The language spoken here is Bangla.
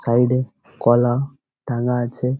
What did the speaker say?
সাইড - এ কলা টাঙ্যা আছে।